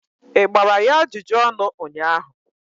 ị gbara ya ajụjụ ọnụ ụnyahụ?